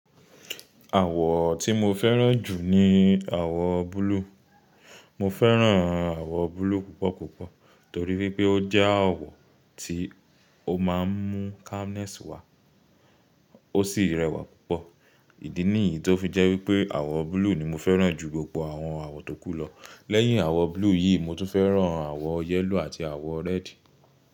Àwọ̀ọ tí mo fẹ́ràn jù ni àwọ̀ọ blue. Mo fẹ́ràn àwọ̀ blue púpọ̀ púpọ̀ torí wípé ó jẹ́ àwọ̀ tí ó máa ń mú calmness wá, ó sì rẹwà púpọ̀. Ìdí nìyí tó fi jẹ́ wípé àwọ̀ blue ni mo fẹ́ràn jù gbogbo àwọn àwọ̀ tókù lọ. Lẹ́yìn àwọ̀ blue yìí mo tún fẹ́ràn àwọ̀ yellow àti àwọ̀ red.